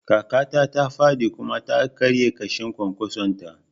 Kakata ta faɗi kuma ta karya ƙashin kwankwason ta